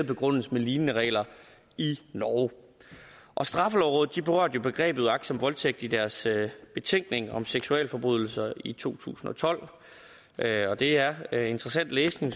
begrundes med lignende regler i norge straffelovrådet berørte jo begrebet uagtsom voldtægt i deres betænkning om seksualforbrydelser i to tusind og tolv og det er er interessant læsning